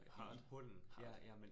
Hard. Hard